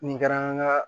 Nin kɛra an ka